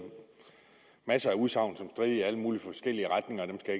masser af udsagn som strittede i alle mulige forskellige retninger og dem skal